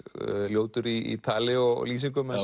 ljótur í tali og lýsingum eins